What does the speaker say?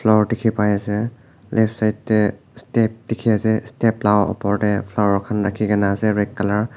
Nor tekhe pai ase left side tey step dekhe ase step la upor tey pharo khan rakhe kena ase red colour .